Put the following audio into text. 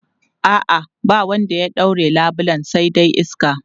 A'a, ba wanda ya ɗaure labulen sai dai iska.